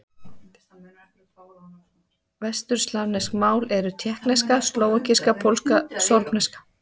Vesturslavnesk mál eru: tékkneska, slóvakíska, pólska, sorbneska.